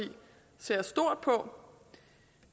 ser stort på